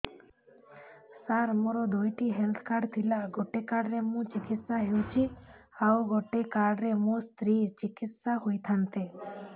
ସାର ମୋର ଦୁଇଟି health card ଥିଲା ଗୋଟେ କାର୍ଡ ରେ ମୁଁ ଚିକିତ୍ସା ହେଉଛି ଆଉ ଗୋଟେ କାର୍ଡ ରେ ମୋ ସ୍ତ୍ରୀ ଚିକିତ୍ସା ହୋଇଥାନ୍ତେ